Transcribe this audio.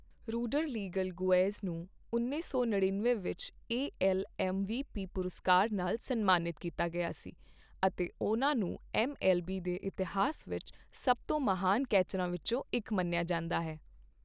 ਰੌਡਰਲੀਗਲ ਗੁਏਜ਼ ਨੂੰ ਉੱਨੀ ਸੌ ਨੜਿਨਵੇਂ ਵਿੱਚ ਏਐੱਲਐੱਮਵੀਪੀ ਪੁਰਸਕਾਰ ਨਾਲ ਸਨਮਾਨਿਤ ਕੀਤਾ ਗਿਆ ਸੀ ਅਤੇ ਉਨ੍ਹਾਂ ਨੂੰ ਐੱਮਐੱਲਬੀ ਦੇ ਇਤਿਹਾਸ ਵਿੱਚ ਸਭ ਤੋਂ ਮਹਾਨ ਕੈਚਰਾਂ ਵਿੱਚੋਂ ਇੱਕ ਮੰਨਿਆ ਜਾਂਦਾ ਹੈ।